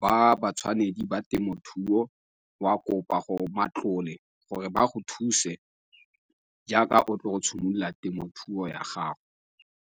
ba ba tshwanedi ba temothuo wa kopa gore matlole gore ba go thuse jaaka o tlile go simolola temothuo ya gago.